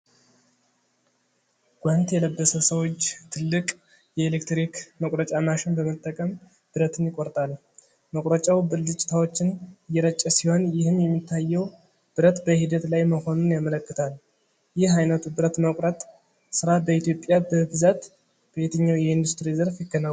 ጓንት የለበሰ ሰው እጅ ትልቅ የኤሌክትሪክ መቁረጫ ማሽን በመጠቀም ብረትን ይቆርጣል። መቁረጫው ብልጭታዎችን እየረጨ ሲሆን ይህም የሚታየው ብረት በሂደት ላይ መሆኑን ያመለክታል። ይህ ዓይነቱ ብረት መቁረጥ ሥራ በኢትዮጵያ በብዛት በየትኛው የኢንዱስትሪ ዘርፍ ይከናወናል?